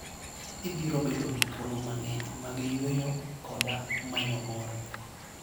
Ibiro bedo gi thuolo mang'eny mag yueyo koda manyo mor.